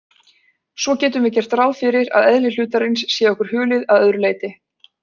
Svo getum við gert ráð fyrir að eðli hlutarins sé okkur hulið að öðru leyti.